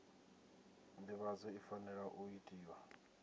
nḓivhadzo i fanela u itiwa